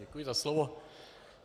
Děkuji za slovo.